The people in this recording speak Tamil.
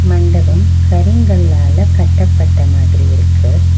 மண்டபம் கரிங்கல்லால கட்டப்பட்ட மாதிரி இருக்கு.